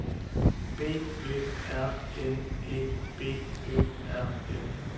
B Ø R N E B Ø R N